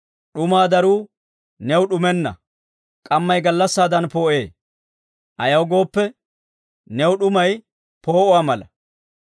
d'umaa daruu new d'umenna; k'ammay gallassaadan poo'ee; ayaw gooppe, new d'umay poo'uwaa mala.